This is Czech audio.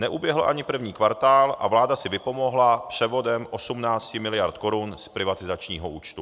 Neuběhl ani první kvartál a vláda si vypomohla převodem 18 miliard korun z privatizačního účtu.